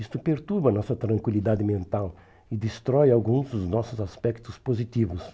Isto perturba nossa tranquilidade mental e destrói alguns dos nossos aspectos positivos.